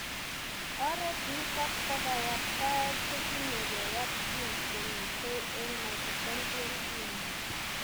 Oret nitok bo kayaptaet kotinyegei ak genes chemitei eng' mitochondrial dna.